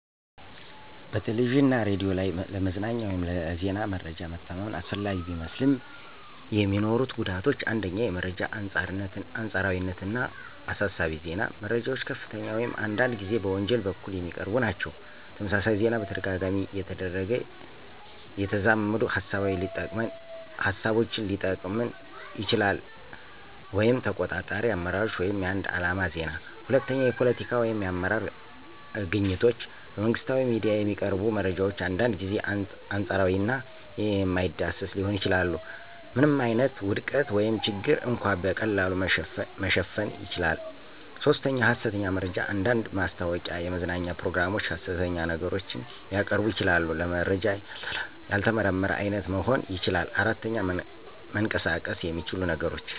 በቴሌቪዥን እና ሬዲዮ ላይ ለመዝናኛ ወይም ለዜና መረጃ መተማመን አስፈላጊ ቢመስልም፣ የሚኖሩት ጉዳቶች 1. የመረጃ አንጻርነት እና አሳሳቢ ዜና - መረጃዎች ከፍተኛ ወይም አንዳንድ ጊዜ በወንጀል በኩል የሚቀርቡ ናቸው። - ተመሳሳይ ዜና በተደጋጋሚ እየተደረገ የተዛመዱ ሃሳቦችን ሊጠቅመን ይችላሉ (ተቆጣጣሪ አመራሮች ወይም የአንድ ዓላማ ዜና)። 2. የፖለቲካ ወይም የአመራር አግኝቶች - በመንግሥታዊ ሚዲያ የሚቀርቡ መረጃዎች አንዳንድ ጊዜ አንጻር እና የማይዳሰስ ሊሆኑ ይችላሉ። ምንም ዓይነት ውድቀት ወይም ችግር እንኳ በቀላሉ መሸፈን ይችላል። 3. ሐሰተኛ መረጃ አንዳንድ ማስታወቂያ፣ የመዝናኛ ፕሮግራሞች ሐሰት ነገሮችን ሊያቀርቡ ይችላሉ። - ለመረጃ ያልተመረመረ አይነት መሆን ይችላል። 4. መንቀሳቀስ የሚችሉ ነገሮች